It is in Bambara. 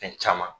Fɛn caman